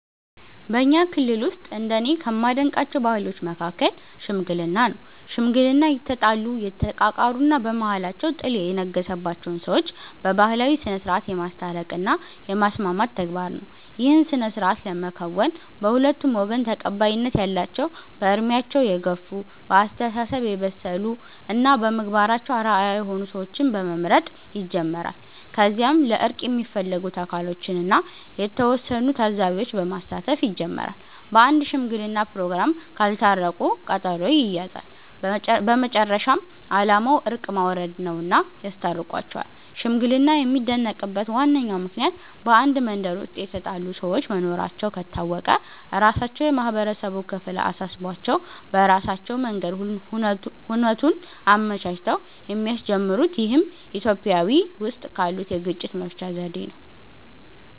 በኛ ክልል ውስጥ እንደኔ ከማደንቃቸው ባህሎች መሀከል "ሽምግልና" ነው። ሽምግልና የተጣሉ፣ የተቃቃሩ እና በመሃላቸው ጥል የነገሰባቸውን ሰዎች በባህላዊ ስነስርዓት የማስታረቅ እና የማስማማት ተግባር ነው። ይህን ስነስርዓት ለመከወን በሁለቱም ወገን ተቀባይነት ያላቸው በእድሜያቸው የገፍ፣ በአስተሳሰብ የበሰሉ እና በምግባራቸው አርአያ የሆኑ ሰዎችን በመምረጥ ይጀምራል። ከዚያም ለእርቅ የሚፈለጉት አካሎችን እና የተወሰኑ ታዛቢዎች በማሳተፍ ይጀመራል። በአንድ ሽምግለና ፕሮግራም ካልታረቁ ቀጠሮ ይያያዛል። በመጨረሻም አላማው እርቅ ማውረድ ነውና ያስታርቋቸዋል። ሽምግልና የሚደነቅበት ዋነኛው ምክንያት በአንድ መንደር ውስጥ የተጣሉ ሰዎች መኖራቸው ከታወቀ ራሳቸው የማህበረሰቡ ክፍል አሳስቧቸው በራሳቸው መንገድ ሁነቱን አመቻችተው የሚያስጀምሩት ይህም ኢትዮጵያዊ ውስጥ ካሉት የግጭት መፍቻ ዘዴ ነው።